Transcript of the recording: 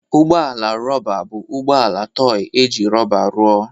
Ụgbọ ala rọba bụ ụgbọ ala tọị e ji rọba rụọ.